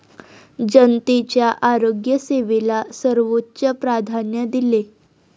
जनतेच्या आरोग्य सेवेला सर्वोच्च प्राधान्य दिले.